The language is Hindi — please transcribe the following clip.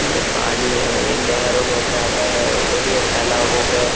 ये पानी है। ये नहरों में से आता है और ये तालाबों पे --